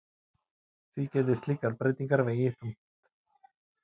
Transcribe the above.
Því geti slíkar breytingar vegið þungt